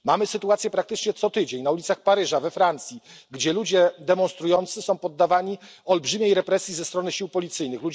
Mamy sytuację praktycznie co tydzień na ulicach Paryża, we Francji, gdzie ludzie demonstrujący są poddawani olbrzymiej represji ze strony sił policyjnych.